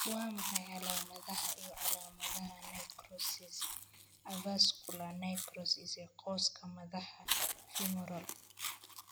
Waa maxay calaamadaha iyo calaamadaha necrosis avascular necrosis ee qoyska madaxa femoral?